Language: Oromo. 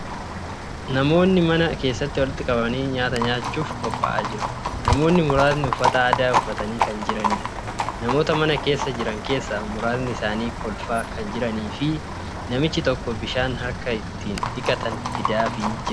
Namootni mana keessatti walitti qabamanii nyaata nyaachuuf qophaa'aa jiru. Namootni muraasni uffata aadaa uffatanii kan jiraniidha. Namoota mana keessa jiran keessaa muraasni isaanii kolfaa kan jiranii fi namichi tokko bishaan harka ittiin dhiqatan fidaafii jira.